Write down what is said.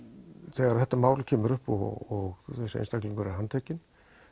þegar þetta mál kemur upp og þessi einstaklingur er handtekinn